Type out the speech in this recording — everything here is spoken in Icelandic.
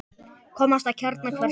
Komast að kjarna hvers máls.